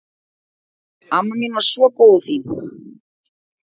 Amma mín var svo góð og fín.